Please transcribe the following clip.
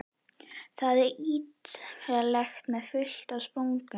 Það var ítarlegt með fullt af spurningum.